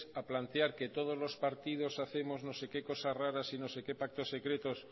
a plantear que todos los partidos hacemos no sé qué cosas raras y no sé qué pactos secretos